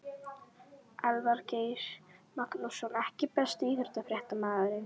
Elvar Geir Magnússon EKKI besti íþróttafréttamaðurinn?